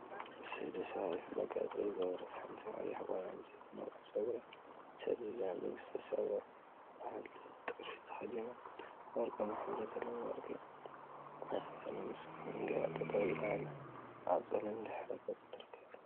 እሰይ! ደስ በሃሊትን መጋየፂ ዝገበረት ሓንቲ ቀያሕ ጓል አንስተይቲ ነዊሕ ፀጉራ ሰዲዳ ንግስተ ሰባ ዝብሃል ጥልፊ ተከዲና፤ ወርቃማ ሕብሪ ዘለዎም ወርቂ ናይ ክሳድን መስቀልን ገይራ ጠጠው ኢላ አብ ፀሊም ድሕረ ገፅ ትርከብ፡፡